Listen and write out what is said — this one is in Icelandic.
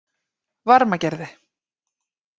Varmagerði